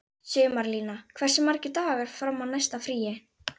Sumarlína, hversu margir dagar fram að næsta fríi?